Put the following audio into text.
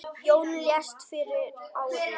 Jón lést fyrir ári.